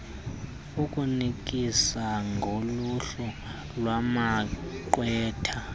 ukunikisa ngoluhlu lwamagqwetha